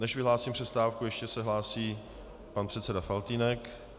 Než vyhlásím přestávku, ještě se hlásí pan předseda Faltýnek.